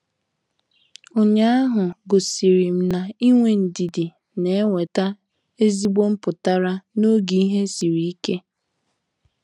Ụnyaahụ gosirim na-inwe ndidi na-enweta ezigbo mputara n'oge ihe sịrị ike.